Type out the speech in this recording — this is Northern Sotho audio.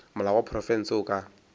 molao wa profense o ka